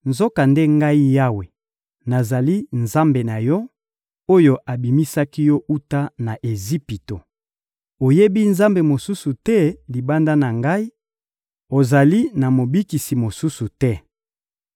«Nzokande Ngai Yawe, nazali Nzambe na yo, oyo abimisaki yo wuta na Ejipito. Oyebi Nzambe mosusu te libanda na Ngai, ozali na mobikisi mosusu te.